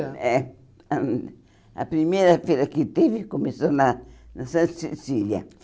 É ãh A primeira feira que teve começou lá, na Santa Cecília.